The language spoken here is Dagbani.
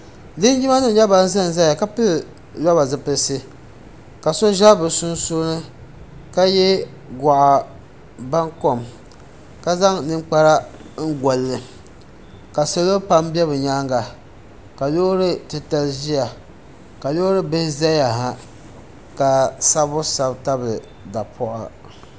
Linjima nima nyɛ bani za n zaya ka pili lɔba zipilisi ka so za bi sunsuuni ka ye gɔɣi baŋ kom la zaŋ ninkpara goli li la salo pam bɛ bi yɛanga ka loori titali ziya ka loori bihi zaya ha ka sabibu sabi tabili dapaɣa.